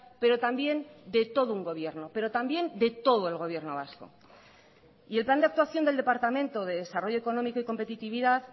pero también de todo un gobierno pero también de todo el gobierno vasco y el plan de actuación del departamento de desarrollo económico y competitividad